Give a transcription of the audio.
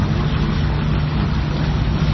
ama sorokko nikna gita man·a.